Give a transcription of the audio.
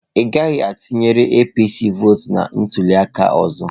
Ị gaghị a tụnyere APC vọọtụ na ntuli aka ọzọ.